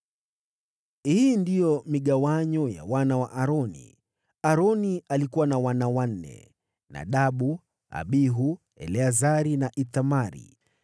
Hii ndiyo migawanyo ya wana wa Aroni: Aroni alikuwa na wana wanne: Nadabu, Abihu, Eleazari na Ithamari.